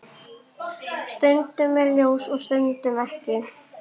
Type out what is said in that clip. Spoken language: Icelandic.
Stundum er ljós og stundum ekki.